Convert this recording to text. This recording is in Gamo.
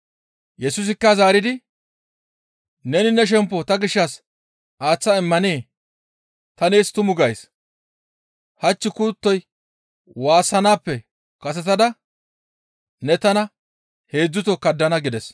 Yesusikka zaaridi, «Neni ne shemppo ta gishshas aaththa immanee? Ta nees tumu gays; hach kuttoy waassanaappe kasetada ne tana heedzdzuto kaddana» gides.